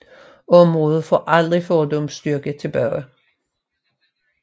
Området fik aldrig fordums styrke tilbage